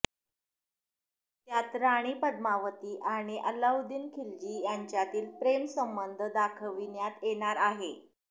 त्यात राणी पद्मावती आणि अल्लाउद्दीन खिलजी यांच्यातील प्रेमसंबंध दाखविण्यात येणार आहे